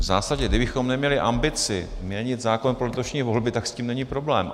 V zásadě, kdybychom neměli ambici měnit zákon pro letošní volby, tak s tím není problém.